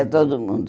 Ia todo mundo.